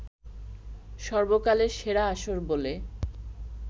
সর্বকালের সেরা আসর বলে